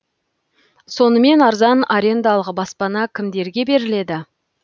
сонымен арзан арендалық баспана кімдерге беріледі